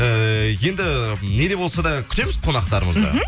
эээ енді не де болса да күтеміз қонақтарымызды мхм